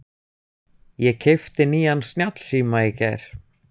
Ég keypti nýjan snjallsíma í gær.